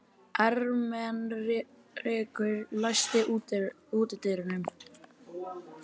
Ermenrekur, læstu útidyrunum.